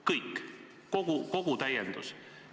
Kõik, kogu täiendus.